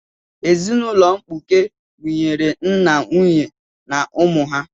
Ezinaụlọ mkpuke gụnyere nna, nwunye na ụmụ ha.